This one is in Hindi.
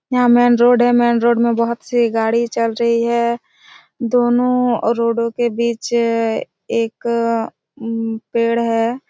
यहाँ मेन रोड है मेन रोड बहोत से गाड़ी चल रही है दोनों और रोडो के बीच एक उम पेड़ हैं।